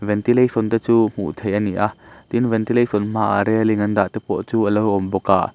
ventilation te chu hmuh theih ani a tin ventilation hmaah railing an dah te pawh chu alo awm bawk a.